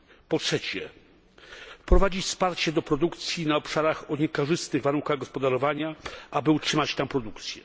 Po trzecie, wprowadzić wsparcie do produkcji na obszarach o niekorzystnych warunkach gospodarowania, aby utrzymać tam produkcję.